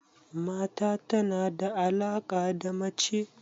Mata tana da alaka da mace